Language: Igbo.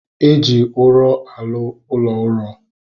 Eji ụrọ arụ ụlọ uro